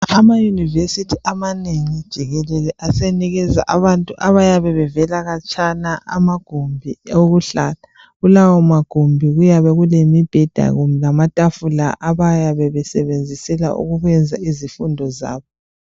Amayunivesithi amanengi jikelele asenikeza abantu abavela khatshana amagumbi okuhlala. Kulawo magumbi kuyabe kulemibheda lamatafula abayabe besebenzisela ukwenza izifundo zabo.